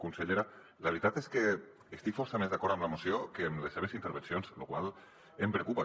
consellera la veritat és que estic força més d’acord amb la moció que amb les seves intervencions la qual cosa em preocupa